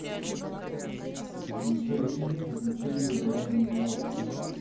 включай фильм приключения барона мюнхгаузена